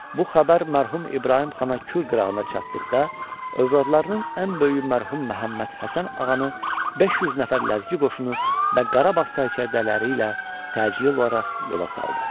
Bu xəbər mərhum İbrahim xana Kür qırağına çatdıqda, övladlarının ən böyüyü mərhum Məhəmməd Həsən ağanı 500 nəfər ləzgi qoşunu və Qarabağ sərkərdələri ilə təcili olaraq yola saldı.